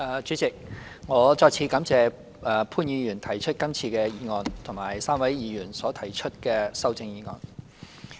主席，我再次感謝潘兆平議員動議這項議案及3位議員所提出的修正案。